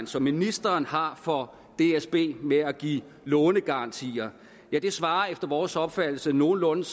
som ministeren har for dsb med at give lånegarantier svarer efter vores opfattelse nogenlunde